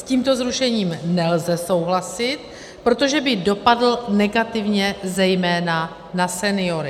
S tímto zrušením nelze souhlasit, protože by dopadl negativně zejména na seniory.